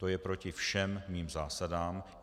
To je proti všem mým zásadám.